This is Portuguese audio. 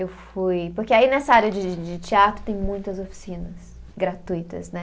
Eu fui. Porque aí nessa área de de de teatro tem muitas oficinas gratuitas, né?